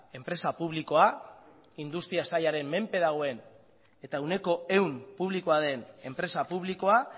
enpresa publikoa industria sailaren menpe dagoen eta ehuneko ehun publikoa den enpresa publikoa